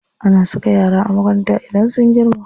Ana saka yara a makaranta idan sun girma.